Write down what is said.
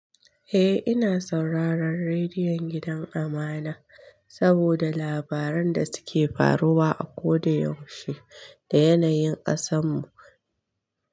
Eh ina sauraron rediyon gidan amana, saboda labaran da suke faruwa akoda yaushe da yanayin ƙasan mu.